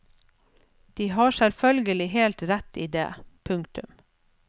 De har selvfølgelig helt rett i det. punktum